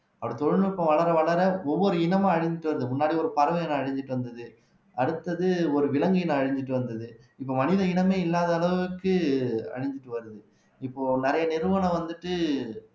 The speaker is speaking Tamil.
அப்படி தொழில்நுட்பம் வளர வளர ஒவ்வொரு இனமும் அழிஞ்சிட்டு வருது முன்னாடி ஒரு பறவை இனம் அழிஞ்சிட்டு வந்தது அடுத்தது ஒரு விலங்கின அழிஞ்சிட்டு வந்தது இப்ப மனித இனமே இல்லாத அளவுக்கு அழிஞ்சுட்டு வருது இப்போ நிறைய நிறுவனம் வந்துட்டு